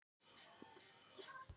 Bertram, hækkaðu í hátalaranum.